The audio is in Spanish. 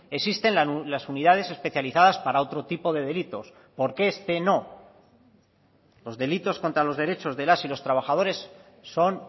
existen las unidades especializadas para otro tipo de delitos por qué este no los delitos contra los derechos de las y los trabajadores son